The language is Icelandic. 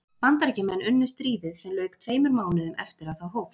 Bandaríkjamenn unnu stríðið sem lauk tveimur mánuðum eftir að það hófst.